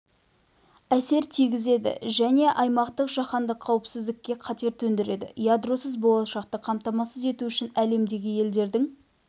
әсер тигізеді және аймақтық жаһандық қауіпсіздікке қатер төндіреді ядросыз болашақты қамтамасыз ету үшін әлемдегі елдердің